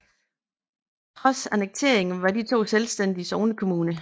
Trods annekteringen var de to selvstændige sognekommuner